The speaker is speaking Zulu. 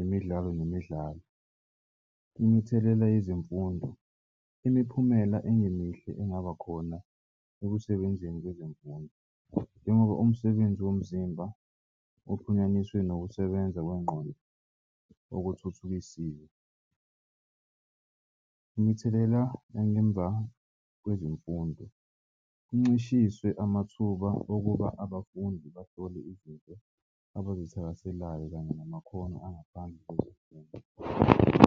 imidlalo nemidlalo. Imithelela yezemfundo imiphumela engemihle engaba khona ekusebenzeni kwezemfundo njengoba umsebenzi womzimba uxhunyaniswe nokusebenza kwengqondo okuthuthukisiwe. Imithelela nangemva kwezemfundo kuncishiswe amathuba okuba abafundi bahlole izinto abazithakaselayo kanye namakhono angaphandle kwezemfundo.